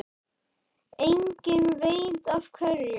Enginn veit af hverju.